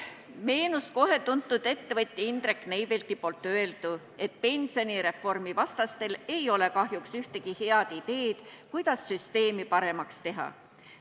Meenus kohe tuntud ettevõtja Indrek Neivelti öeldu, et pensionireformi vastastel ei ole kahjuks ühtegi head ideed, kuidas süsteemi paremaks teha.